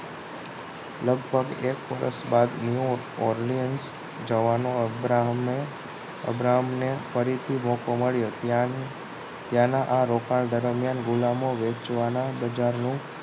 લગભગ એક વર્ષ બાદ ન્યુ ઓરલીયંશ જવાનું અબ્રાહમને ફરીથી મોકો મળ્યો ત્યાં ત્યાંના આ રોકાણ દરમિયાન ગુલામો વેચવાના બજારનું